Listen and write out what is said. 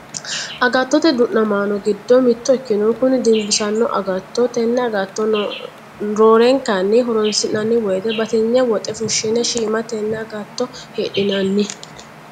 Agattote du'namaano giddo mitto ikkinoh kuni dinbisanno agooti. Ten agatto roorenkanni horoonsi'nanni woyte batinye woxe fushshine shiima tenne agatto hidhinanni.